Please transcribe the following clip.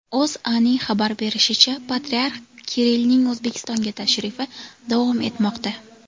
O‘zAning xabar berishicha, patriarx Kirillning O‘zbekistonga tashrifi davom etmoqda.